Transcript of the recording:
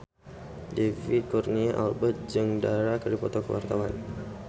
David Kurnia Albert jeung Dara keur dipoto ku wartawan